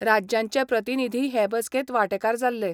राज्यांचे प्रतिनीधीय हे बसकेंत वांटेकार जाल्ले.